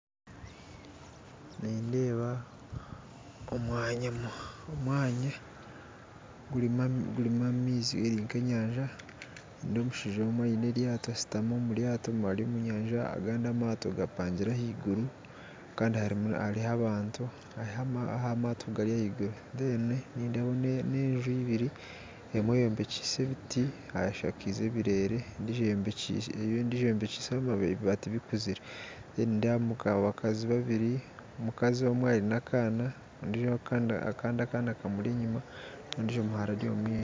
Nindeeba omwanya gurimu gurimu amaizi eri nk'eyanja, ndeeba omushaija omwe ayine eryato, ashutami omuryato ari omu nyanja agandi amato gapangire ahaiguru kandi hariho abantu aha mato gapingire ahaiguru reero nindebaho enju ibiri emwe eyobekyise ebiti hashakize ebirere endiijo eyobekyise ebibati bikuzire kandi nedebamu abakazi babiri, omukazi omwe ayine akana, akandi akana kamuri enyuma ondiijo omuhara ari omu maisho.